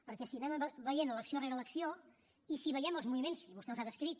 perquè si anem veient elecció rere elecció i si veiem els moviments i vostè els ha descrit